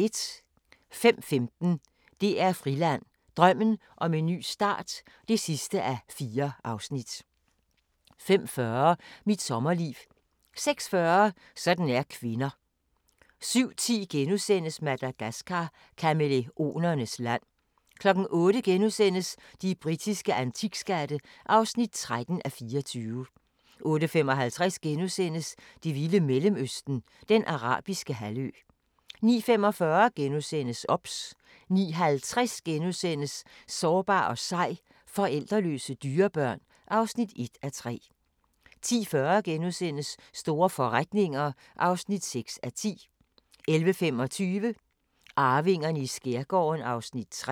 05:15: DR Friland: Drømmen om en ny start (4:4) 05:40: Mit sommerliv 06:40: Sådan er kvinder 07:10: Madagascar – kamæleonernes land * 08:00: De britiske antikskatte (13:24)* 08:55: Det vilde Mellemøsten – Den Arabiske Halvø * 09:45: OBS * 09:50: Sårbar og sej – forældreløse dyrebørn (1:3)* 10:40: Store forretninger (6:10)* 11:25: Arvingerne i skærgården (3:10)